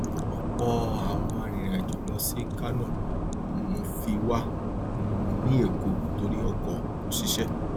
ọpọ àwọn arìnrìnàjò lọ sí kánò um fi wà um ní èkó torí ọkọ kò ṣiṣẹ